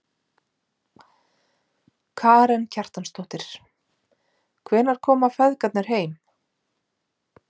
Karen Kjartansdóttir: Hvenær koma feðgarnir heim?